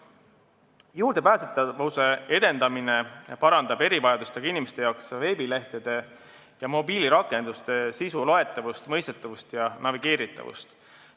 Juurdepääsetavuse edendamine parandab erivajadustega inimeste jaoks veebilehtede ja mobiilirakenduste sisu loetavust, mõistetavust ja navigeeritavust.